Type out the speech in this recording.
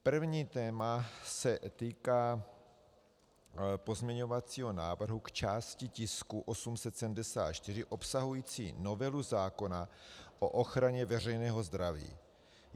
První téma se týká pozměňovacího návrhu k části tisku 874 obsahující novelu zákona o ochraně veřejného zdraví.